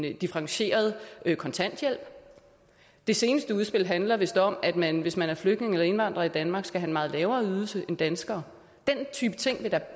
en differentieret kontanthjælp det seneste udspil handler vist om at man hvis man er flygtning eller indvandrer i danmark skal have meget lavere ydelse end danskere den type ting